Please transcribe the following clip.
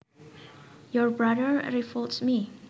Your brother revolts me